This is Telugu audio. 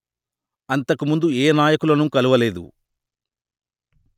అంతకుముందు ఏ నాయకులను కలువలేదు